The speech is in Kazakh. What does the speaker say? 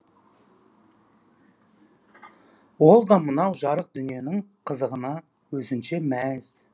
ол да мынау жарық дүниенің қызығына өзінше мәз